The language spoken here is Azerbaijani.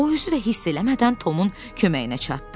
O özü də hiss eləmədən Tomun köməyinə çatdı.